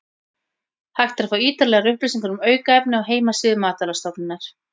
Hægt er að fá ítarlegar upplýsingar um aukefni á heimasíðu Matvælastofnunar.